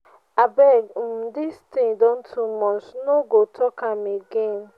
abeg um dis thing don too muchi no go take am again.